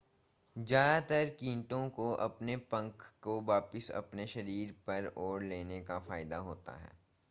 ज़्यादातर कीटों को अपने पंख को वापस अपने शरीर पर ओढ़ लेने का फायदा होता है